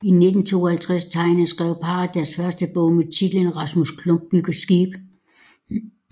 I 1952 tegnede og skrev parret deres første bog med titlen Rasmus Klump bygger skib